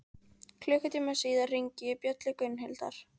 Klukkutíma síðar hringi ég bjöllu Gunnhildar.